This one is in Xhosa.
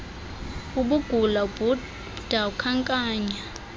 ubugula ubhuda ukhankanya